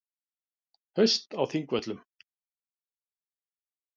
Haust á Þingvöllum.